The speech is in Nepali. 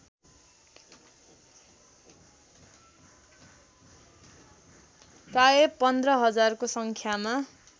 प्रायः १५ हजारको सङ्ख्यामा